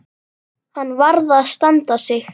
Hann varð að standa sig.